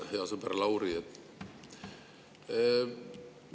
Hea sõber Lauri!